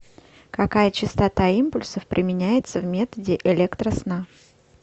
какая частота импульсов применяется в методе электросна